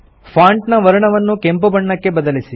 font ನ ವರ್ಣವನ್ನು ಕೆಂಪು ಬಣ್ಣಕ್ಕೆ ಬದಲಿಸಿ